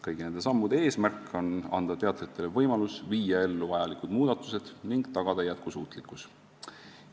" Kõigi nende sammude eesmärk on anda teatritele võimalus viia ellu vajalikud muudatused ning tagada jätkusuutlikkus.